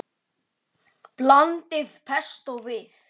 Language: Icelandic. Þið finnið það?